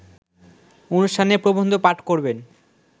অনুষ্ঠানে প্রবন্ধ পাঠ করবেন